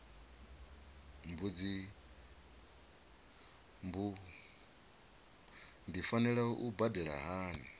mbu ndi fanela u badela hani